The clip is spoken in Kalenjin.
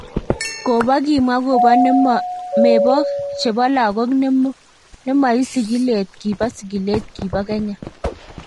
Kobo kimwa kobo ne mebok chebo lagok nemoi sigilet kibo sigilet kibo Kenya.